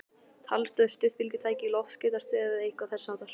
Talstöð, stuttbylgjutæki, loftskeytastöð eða eitthvað þessháttar?